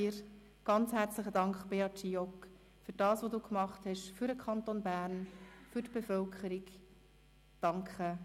Ganz herzlichen Dank, Beat Giauque, für das, was du für den Kanton Bern, für die Bevölkerung gemacht hast.